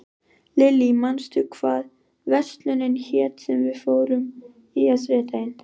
Lillý, manstu hvað verslunin hét sem við fórum í á þriðjudaginn?